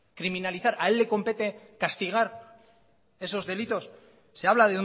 criminalizar a él le compete castigar esos delitos se habla